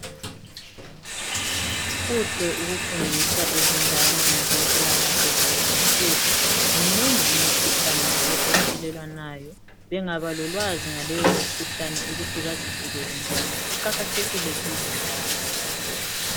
Kuhle ukufundisa izingane ngokwempilakahle kulezinsuku. Minengi imikhuhlane njalo ethelelwanayo. Bengaba lolwazi ngaleyo mkhuhlane ukuthi bazivikele njani, kuqakathekile kibo njalo.